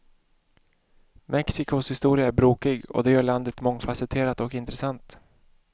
Mexicos historia är brokig, och det gör landet mångfacetterat och intressant.